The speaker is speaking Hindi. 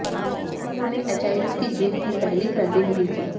उन्होंने एचआईवी की जीन की पहली मैपिंग भी की